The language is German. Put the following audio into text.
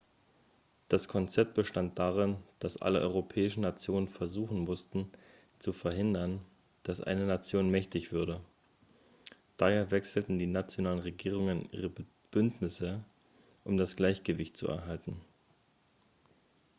das konzept bestand darin dass alle europäischen nationen versuchen mussten zu verhindern dass eine nation mächtig würde daher wechselten die nationalen regierungen ihre bündnisse um das gleichgewicht zu erhalten